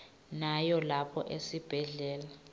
nawo lapha esibhedlela